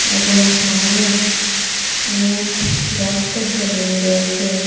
এবং সামোনে অনেক গাসগাসালি রয়েসে।